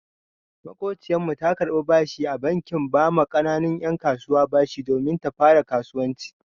Maƙociyar mu ta karɓi bashi a bankin ba ma ƙananun 'yan kasuwa bashi domin ta fara kasuwanci.